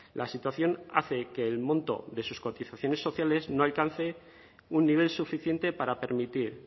la situación hace que el monto de sus cotizaciones sociales no alcance un nivel suficiente para permitir